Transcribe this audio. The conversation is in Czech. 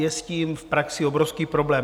Je s tím v praxi obrovský problém.